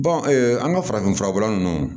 an ka farafinfura bɔla nunnu